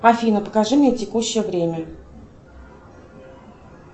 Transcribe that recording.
афина покажи мне текущее время